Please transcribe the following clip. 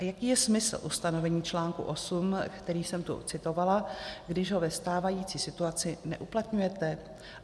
A jaký je smysl ustanovení článku 8, který jsem tu citovala, když ho ve stávající situaci neuplatňujete?